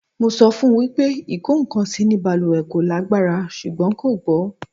Mo sọ fún wípé ikokansi ni baluwe kò lágbára ṣùgbọ́n kò gbọ́